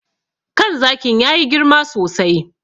Kan zakin ya yi girma sosai.